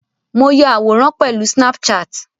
Mo ya àwòrán pẹ̀lú snapchat.